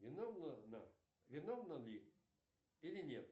виновна она виновна ли или нет